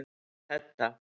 Hedda